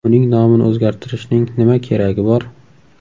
Uning nomini o‘zgartirishning nima keragi bor?